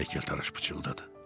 Heykəltaraş pıçıldadı.